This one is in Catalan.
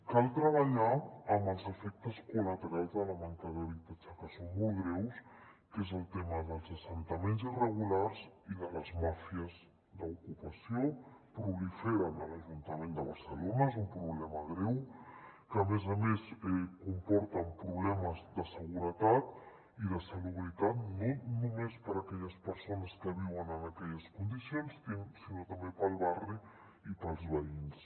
cal treballar amb els efectes col·laterals de la manca d’habitatge que són molt greus que és el tema dels assentaments irregulars i de les màfies d’ocupació proliferen a l’ajuntament de barcelona és un problema greu que a més a més comporten problemes de seguretat i de salubritat no només per a aquelles persones que viuen en aquelles condicions sinó també per al barri i per als veïns